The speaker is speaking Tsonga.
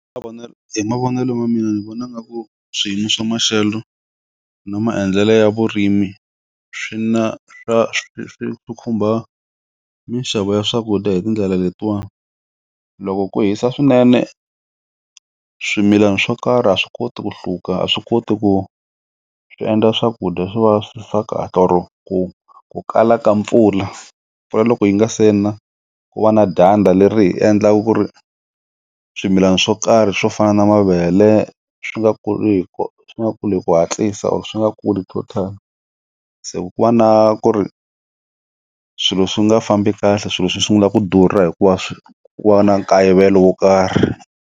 Hi mavonelo ma mina ni vona nga ku swiyimo swa maxelo na maendlelo ya vurimi swi na swa swi khumba mixavo ya swakudya hi tindlela letiwa loko ku hisa swinene swimilana swo karhi a swi koti ku hluka, a swi koti ku swi endla swakudya swi va swa kahle or ku ku kala ka mpfula pfula loko yi nga se na ku va na dyandza leri hi endlaka ku ri swimilana swo karhi swo fana na mavele swi nga kuriku swi nga kuli hi ku hatlisa or swi nga kuli total se ku ku va na ku ri swilo swi nga fambi kahle swilo swi sungula ku durha hikuva swi ku va na nkayivelo wo karhi.